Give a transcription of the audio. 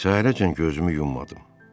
Səhərədək gözümü yummadım.